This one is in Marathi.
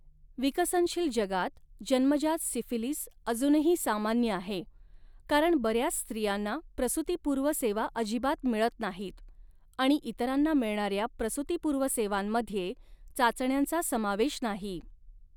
विकसनशील जगात जन्मजात सिफिलिस अजूनही सामान्य आहे, कारण बऱ्याच स्त्रियांना प्रसूतीपूर्व सेवा अजिबात मिळत नाहीत, आणि इतरांना मिळणाऱ्या प्रसूतीपूर्व सेवांमध्ये चाचण्यांचा समावेश नाही.